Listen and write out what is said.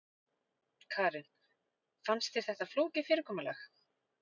Karen: Fannst þér þetta flókið fyrirkomulag?